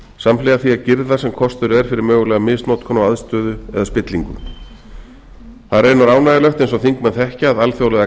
samhliða því að girða sem kostur er fyrir mögulega misnotkun á aðstöðu eða spillingu það er raunar ánægjulegt eins og þingmenn þekkja að alþjóðlegar